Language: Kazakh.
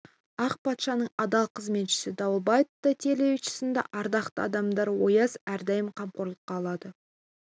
ақ патшаның адал қызметшісі дауэльбай тайтелиевич сынды ардақты адамдарды ояз әрдайым қамқорлыққа алады